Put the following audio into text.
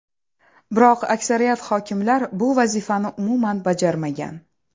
Biroq aksariyat hokimlar bu vazifani umuman bajarmagan.